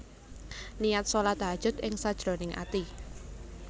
Niat shalat Tahajjud ing sajroning ati